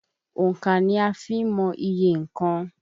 Òńkà ni a fi ń mọ iye nnkan.